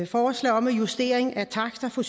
forslag om justering af taksterne for